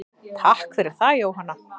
Takk fyrir það Jóhanna.